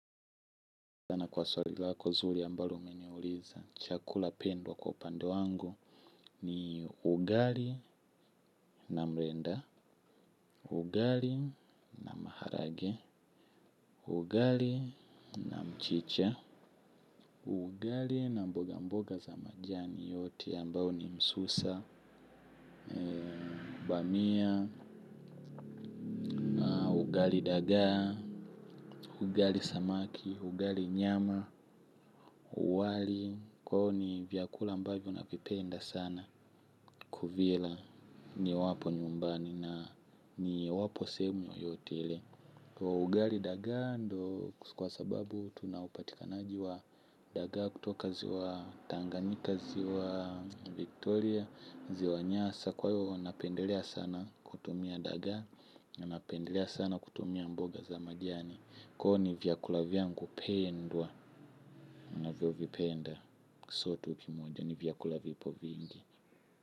Asante sana kwa swali lako nzuri ambalo umeniuliza. Chakula pia iko kwa upande wangu, ni ugali na mrenda, ugali na maharage, ugali na mchicha, ugali na mboga mboga za majani, yote ambayo ni msusa, bamia, ugali dagaa, ugali samaki, ugali nyama, wali, kwao ni vyakula ambavyo navipenda sana. Kuvila niwapo nyumbani na niwapo sehemu yoyote ile. Ugali dagaa ndio kwa sababu tuna upatikanaji wa dagaa kutoka ziwa tanganyika, ziwa Victoria, ziwa Nyasa kwa hivo napendelea sana kutumia dagaa. Napendelea sana kutumia mboga za majiani, kwa hivyo ni vyakula vyangu pendwa ninavyovipenda. Sio tu kimoja ni vyakula vipo vingi.